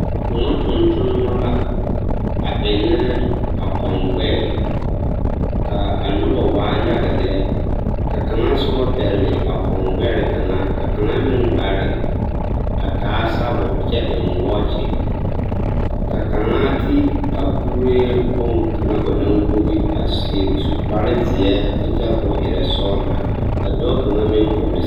Kõɔ tontonema la a ennɛ a kɔŋgbɛɛ ka a noba waa yaga lɛ, ka kaŋa soba pɛgele a kɔŋgbɛre kaŋa ka kaŋa meŋ are a taa sabol kyɛ eŋ wɔɔkye ka kaŋa ti a kuree boŋkaŋa banaŋ wogi a su kpare zeɛ kyɛ kyɛre k'o erɛ sɔgelaa ka dɔɔ kaŋa meŋ vɔgele